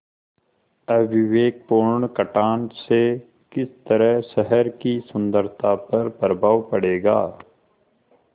अविवेकपूर्ण कटान से किस तरह शहर की सुन्दरता पर प्रभाव पड़ेगा